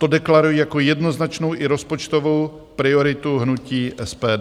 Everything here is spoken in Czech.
To deklaruji jako jednoznačnou i rozpočtovou prioritu hnutí SPD.